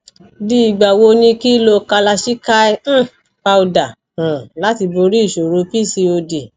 di igba wo ni ki lo kalachikai um powder um lati bori isoro pcod